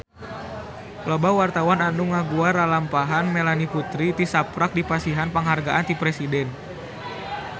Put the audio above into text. Loba wartawan anu ngaguar lalampahan Melanie Putri tisaprak dipasihan panghargaan ti Presiden